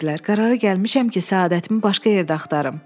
Qərara gəlmişəm ki, səadətimi başqa yerdə axtarım.